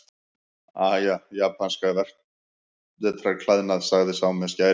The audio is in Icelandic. Aha, japanskan vetrarklæðnað, sagði sá með skærin.